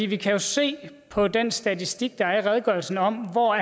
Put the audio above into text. vi kan jo se på den statistik der er i redegørelsen om hvor